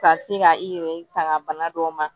Ka se ka i yɛrɛ tanga bana dɔw ma